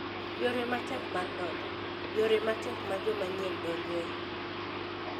Yore ma Tek mar Donjo: Yore ma tek ma joma nyien donjoe.